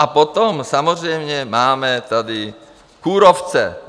A potom samozřejmě máme tady kůrovce.